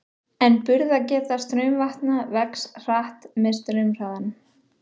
En burðargeta straumvatna vex hratt með straumhraðanum.